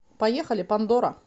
поехали пандора